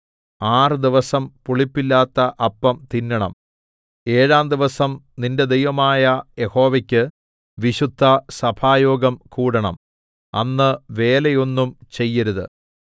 ആറ് ദിവസം പുളിപ്പില്ലാത്ത അപ്പം തിന്നേണം ഏഴാം ദിവസം നിന്റെ ദൈവമായ യഹോവയ്ക്ക് വിശുദ്ധസഭായോഗം കൂടണം അന്ന് വേലയൊന്നും ചെയ്യരുത്